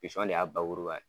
Pisɔn de y'a bakuruba ye.